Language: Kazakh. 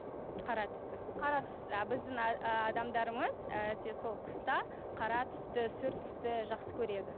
қара түсті қара түсті а біздің адамдарымыз әсіресе сол қыста қара түсті сұр түсті жақсы көреді